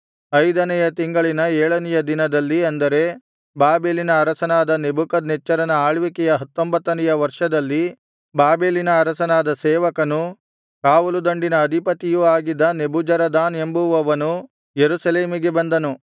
ಐದನೆಯ ತಿಂಗಳಿನ ಏಳನೆಯ ದಿನದಲ್ಲಿ ಅಂದರೆ ಬಾಬೆಲಿನ ಅರಸನಾದ ನೆಬೂಕದ್ನೆಚ್ಚರನ ಆಳ್ವಿಕೆಯ ಹತ್ತೊಂಬತ್ತನೆಯ ವರ್ಷದಲ್ಲಿ ಬಾಬೆಲಿನ ಅರಸನ ಸೇವಕನೂ ಕಾವಲುದಂಡಿನ ಅಧಿಪತಿಯೂ ಆಗಿದ್ದ ನೆಬೂಜರದಾನ್ ಎಂಬುವವನು ಯೆರೂಸಲೇಮಿಗೆ ಬಂದನು